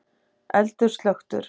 Eldur slökktur